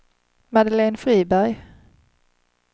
Madeleine Friberg